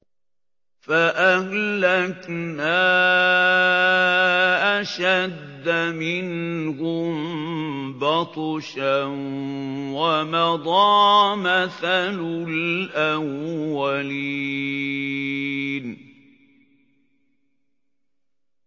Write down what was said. فَأَهْلَكْنَا أَشَدَّ مِنْهُم بَطْشًا وَمَضَىٰ مَثَلُ الْأَوَّلِينَ